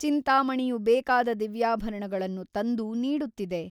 ಚಿಂತಾಮಣಿಯು ಬೇಕಾದ ದಿವ್ಯಾಭರಣಗಳನ್ನು ತಂದು ನೀಡುತ್ತಿದೆ.